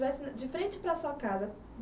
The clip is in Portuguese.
de frente para a sua casa